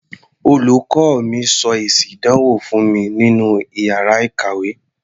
Olùkọ́ mi sọ èsì ìdánwò fún mi nínú iyàrá ìkàwé.